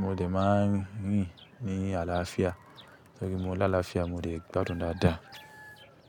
Mo lè máa ń rìn ní àlàáfíà torí mo lá àlàáfíà mo lè gbádùn dáadáa.